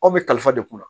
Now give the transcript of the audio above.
Aw bɛ kalifa de kunna